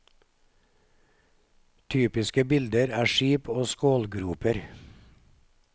Typiske bilder er skip og skålgroper.